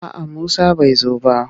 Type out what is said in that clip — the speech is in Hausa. A'a Musa bai zo ba.